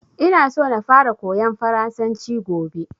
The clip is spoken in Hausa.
Ina so na fara koyan farasanci gobe